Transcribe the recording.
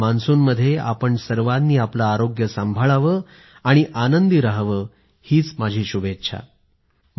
हा मान्सून आपल्या सर्वांना सतत आनंदानं भरून टाको ही माझी इच्छा आहे